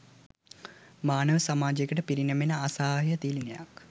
මානව සමාජයකට පිරිනැමෙන අසහාය තිළිණයක්